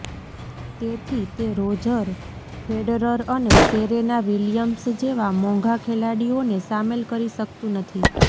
તેથી તે Roger Federer અને સેરેના વિલિયમ્સ જેવા મોંઘા ખેલાડીઓને સામેલ કરી શકતું નથી